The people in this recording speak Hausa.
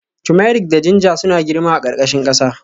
Turmeric da ginger suna girma a ƙarƙashin ƙasa